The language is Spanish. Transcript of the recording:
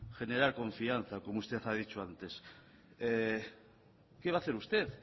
generar confianza como usted ha dicho antes qué va a hacer usted